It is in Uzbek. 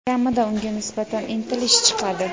kamida unga nisbatan intilish chiqadi.